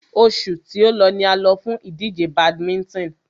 Oṣù tí o lọ ni a lọ fún ìdíje badminton.